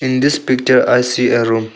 In this picture I see a room.